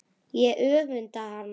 Ég öfunda hana.